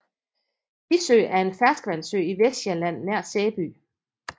Tissø er en ferskvandssø i Vestsjælland nær Sæby